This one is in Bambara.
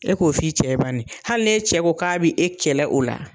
E k'o f'i cɛ ye bani hali n'e cɛ ko k'a bɛ e kɛlɛ o la